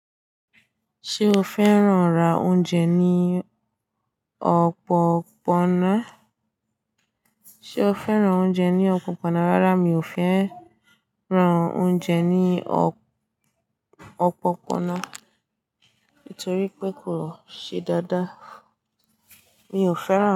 Ṣé o fẹ́ràn ra oúnjẹ ní ọ̀pọ̀pọ́nà? Ṣé o fẹ́ràn oúnjẹ ní ọ̀pọ̀pọ́nà? Rárá, mi ò fẹ́ràn oúnjẹ ní ọ̀pọ̀pọ́nà torí pé kò ṣe dáadáa. Mi ò fẹ́ràn.